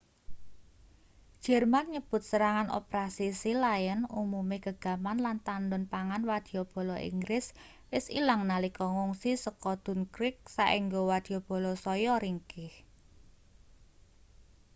jerman nyebut serangan operasi sealion umume gegaman lan tandhon pangan wadyabala inggris wis ilang nalika ngungsi saka dunkirk saéngga wadyabala saya ringkih